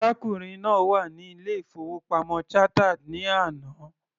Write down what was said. Arákùnrin náà wà ní ilé- ìfowópamọ́ Chartered ní àná.